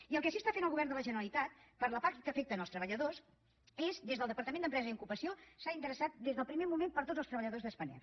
i el que sí que està fent el govern de la generalitat per la part que afecta els treballadors és des del departament d’empresa i ocupació s’ha interessat des del primer moment per tots els treballadors de spanair